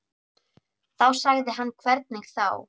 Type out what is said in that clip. Þá sagði hann hvernig þá.